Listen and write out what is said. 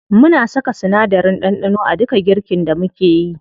Muna saka sinadarin ɗanɗano a duka girkin da mukeyi.